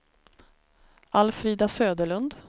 Alfrida Söderlund